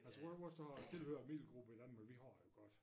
Jeg tror vores der har tilhører middelgruppe i Danmark vi har det godt